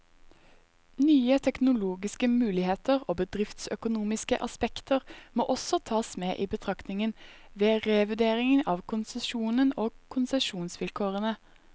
Nye teknologiske muligheter og bedriftsøkonomiske aspekter må også tas med i betraktningen, ved revurdering av konsesjonen og konsesjonsvilkårene.